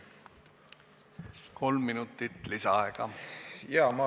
Kolm minutit lisaaega!